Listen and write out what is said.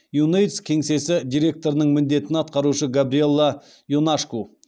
юнэйдс кеңсесі директорының міндетін атқарушы габриелла ионашку